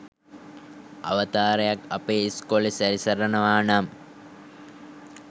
අවතාරයක් අපේ ඉස්කෝලෙ සැරිසරනවා නම්